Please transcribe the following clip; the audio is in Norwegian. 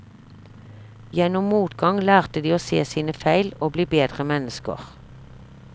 Gjennom motgang lærte de å se sine feil, og bli bedre mennesker.